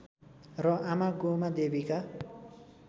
र आमा गोमादेवीका